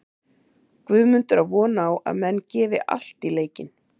Guðmundur á von á að menn gefi allt í leikinn.